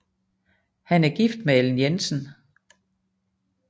Han er gift med Ellen Jensen